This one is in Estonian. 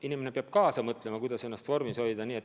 Inimene peab mõtlema, kuidas ennast vormis hoida.